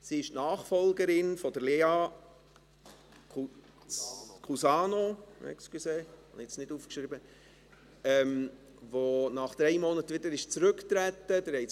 Sie ist die Nachfolgerin von Lea Kusano, die nach drei Monaten wieder zurückgetreten ist.